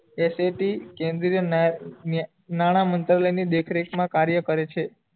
S A T કેન્દ્રીય ન્યાલામંત્રાલય ની દેખ રેખ મા કાર્ય કરે છે